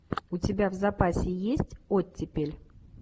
у тебя в запасе есть оттепель